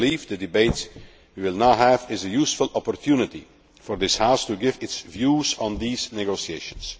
I believe the debate we will now have is a useful opportunity for this House to give its views on these negotiations.